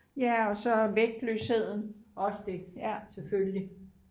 ja og så vægtløsheden ja